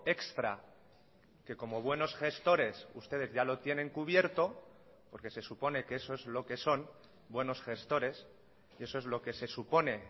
extra que como buenos gestores ustedes ya lo tienen cubierto porque se supone que eso es lo que son buenos gestores eso es lo que se supone